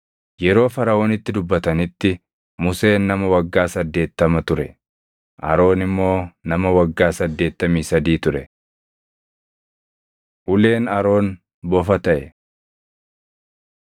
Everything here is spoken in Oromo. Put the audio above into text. Yeroo Faraʼoonitti dubbatanitti Museen nama waggaa saddeettama ture; Aroon immoo nama waggaa saddeettamii sadii ture. Uleen Aroon bofa taʼe